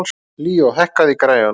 Líó, hækkaðu í græjunum.